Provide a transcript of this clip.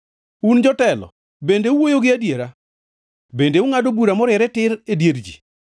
Un jotelo, bende uwuoyo gi adiera? Bende ungʼado bura moriere tir e dier ji?